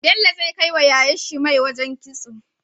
Bello zai kai wa yayar shi mai wajan kitso